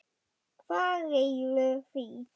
Hvað réði því?